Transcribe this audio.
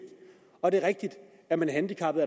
og det er rigtigt er man handicappet